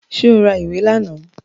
Ṣé o ra ìwé lánàá?